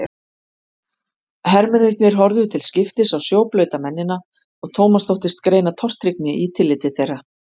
Hermennirnir horfðu til skiptis á sjóblauta mennina og Thomas þóttist greina tortryggni í tilliti þeirra.